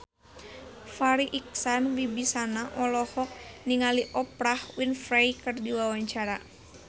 Farri Icksan Wibisana olohok ningali Oprah Winfrey keur diwawancara